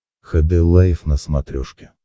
хд лайф на смотрешке